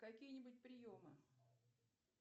какие нибудь приемы